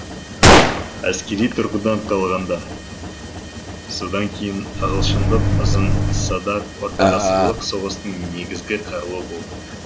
әскери тұрғыдан алғанда содан кейін ағылшындық ұзын садақ ортағасырлық соғыстың негізгі қаруы болды